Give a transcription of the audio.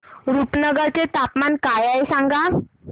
रुपनगर चे तापमान काय आहे सांगा